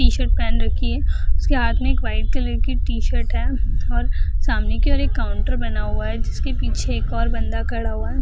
T-shirt पहन रखी है उसके हाथ में एक वाइट कलर की टी-शर्ट है और सामने केवल एक काउंटर बना हुआ है जिसके पीछे एक और बंदा खड़ा हुआ है।